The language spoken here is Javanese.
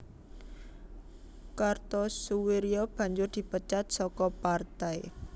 Kartosoewirjo banjur dipecat saka partai